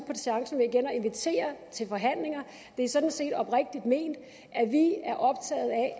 med igen at invitere til forhandlinger det er sådan set oprigtigt ment